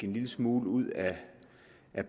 en lille smule ud af